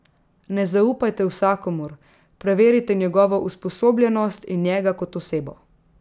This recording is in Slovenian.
Ne zaupajte vsakomur, preverite njegovo usposobljenost in njega kot osebo.